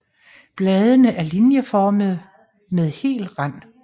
Bladene er linjeformede med hel rand